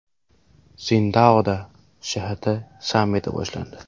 Sindaoda ShHT sammiti boshlandi.